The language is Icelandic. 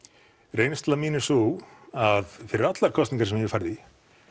reynsla mín er sú að fyrir allar kosningar sem ég hef farið í